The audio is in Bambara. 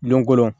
Don ko don